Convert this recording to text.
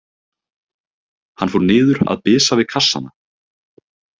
Hann fór niður að bisa við kassana.